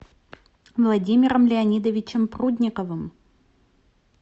владимиром леонидовичем прудниковым